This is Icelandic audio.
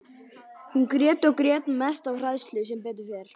Hún grét og grét, mest af hræðslu, sem betur fer.